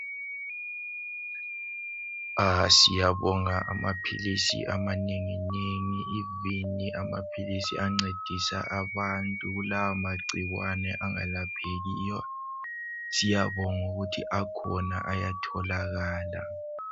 Siyabonga amaphilisi amanenginengi, amaphilisi ancedisa abantu kulawa magcikwane angelaphekiyo. Siyabonga ukuthi akhona ayatholakala.